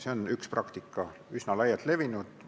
See on üks praktikaid, üsna laialt levinud.